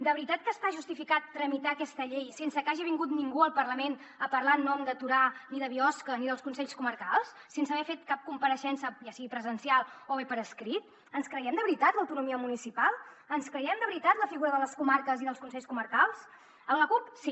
de veritat que està justificat tramitar aquesta llei sense que hagi vingut ningú al parlament a parlar en nom de torà ni de biosca ni dels consells comarcals sense haver fet cap compareixença ja sigui presencial o bé per escrit ens creiem de veritat l’autonomia municipal ens creiem de veritat la figura de les comarques i dels consells comarcals a la cup sí